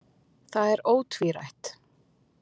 Það er ótvírætt.